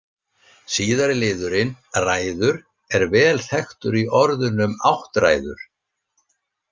Síðari liðurinn- ræður er vel þekktur í orðunum áttræður.